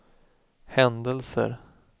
händelser